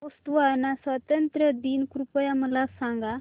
Botswana स्वातंत्र्य दिन कृपया मला सांगा